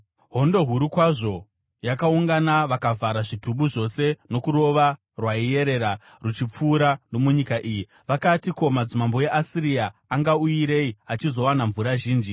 Hondo huru kwazvo yakaungana, vakavhara zvitubu zvose norukova rwaiyerera ruchipfuura nomunyika iyi. Vakati, “Ko, madzimambo eAsiria angauyirei achizowana mvura zhinji.”